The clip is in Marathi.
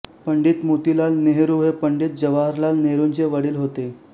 पंडित मोतीलाल नेहरू हे पंडित जवाहरलाल नेहरूंचे वडील होते